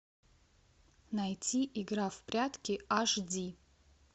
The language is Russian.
найти игра в прятки аш ди